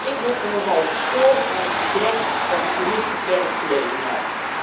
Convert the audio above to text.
Ik heb me nogal gestoord aan het gedrag van de Commissie werkgelegenheid.